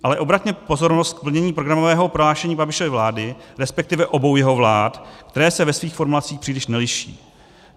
Ale obraťme pozornost k plnění programového prohlášení Babišovy vlády, respektive obou jeho vlád, které se ve svých formulacích příliš neliší.